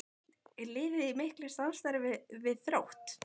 Er liðið í miklu samstarfi við Þrótt?